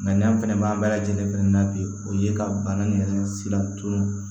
n'an fɛnɛ b'an bɛɛ lajɛlen fɛnɛ na bi o ye ka bana in yɛrɛ sira to